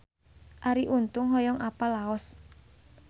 Arie Untung hoyong apal Laos